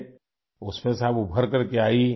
آپ اس میں سے ابھر کر آئیں